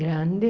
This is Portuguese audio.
Grande.